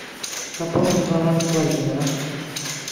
пополни баланс владимира